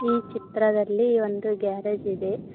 ಈ ಚಿತ್ರದಲ್ಲಿ ಒಂದು ಗ್ಯಾರೇಜ್ ಇದೆ.